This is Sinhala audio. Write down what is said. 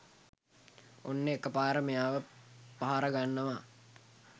ඔන්න එකපාර මෙයාව පහර ගන්නවා